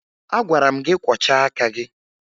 Agwara m gị kwọchaa aka gị!